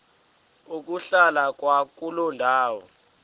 ukuhlala kwakuloo ndawo